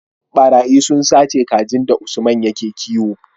ɓarayi sun sace kajin da usman yake kiwo